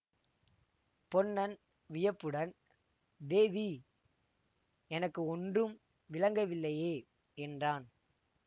பொன்னன் வியப்புடன் தேவி எனக்கு ஒன்றும் விளங்கவில்லையே என்றான்